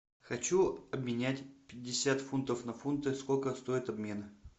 хочу обменять пятьдесят фунтов на фунты сколько стоит обмен